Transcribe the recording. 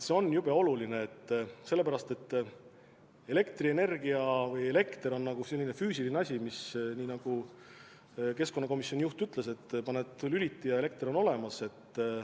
See on jube oluline, sellepärast et elekter on justkui selline füüsiline asi, nagu keskkonnakomisjoni juht ütles, te vajutate lülitit, ja elekter on olemas.